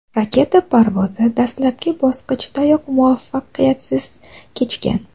Raketa parvozi dastlabki bosqichdayoq muvaffaqiyatsiz kechgan.